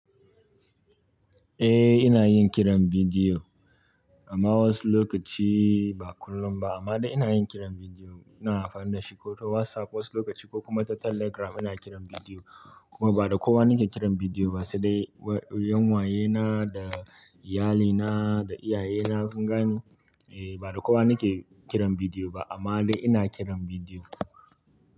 Eh ina yin kiran bidiyo amma wasu lokaci ba kullum ba amma dai ina yin kiran bidiyo. Ina amfani da shi ko ta WhatsApp wasu lokaci ko kuma ta Telegram ina kiran bidiyo kuma ba da kowa nake kiran bidiyo ba sai dai 'yan wayena da iyalina da iyayena kun gane. Eh ba da kowa nake kiran bidiyo ba amma dai ina kiran bidiyo.